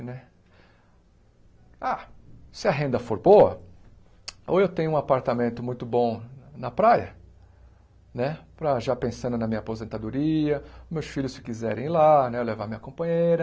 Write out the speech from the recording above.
Ah se a renda for boa, ou eu tenho um apartamento muito bom na praia né, para já pensando na minha aposentadoria, meus filhos se quiserem ir lá né, eu levar minha companheira,